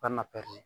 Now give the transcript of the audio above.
Ka na pɛri